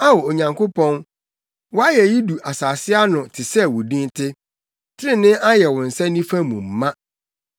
Ao, Onyankopɔn, wʼayeyi du asase ano te sɛ wo din te; trenee ayɛ wo nsa nifa mu ma.